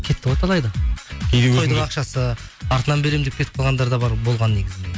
кетті ғой талай адам тойдың ақшасы артынан беремін деп кетіп қалғандар да бар болған негізінде